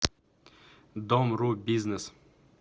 домру бизнес